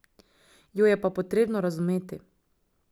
Jo je pa potrebno razumeti.